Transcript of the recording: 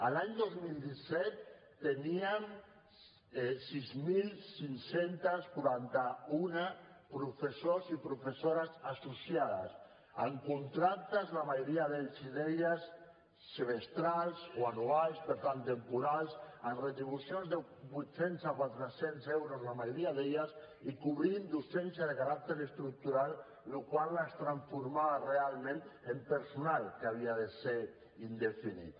l’any dos mil disset teníem sis mil cinc cents i quaranta un professors i professores associades amb contractes la majoria d’ells i d’elles semestrals o anuals per tant temporals amb retribucions de vuit cents a quatre cents euros la majoria d’elles i cobrint docència de caràcter estructural la qual cosa es transformava realment en personal que havia de ser indefinit